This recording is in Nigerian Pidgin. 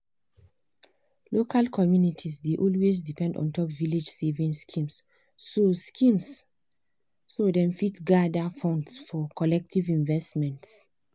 after um she reason her money um well-well sarah go for cheaper insurance wey help am save five hundred dollars um every year.